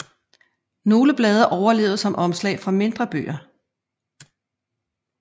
Nogle blade overlevede som omslag for mindre bøger